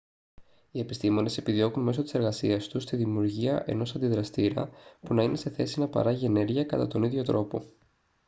οι επιστήμονες επιδιώκουν μέσω της εργασίας τους τη δημιουργία ενός αντιδραστήρα που να είναι σε θέση να παράγει ενέργεια κατά τον ίδιο τρόπο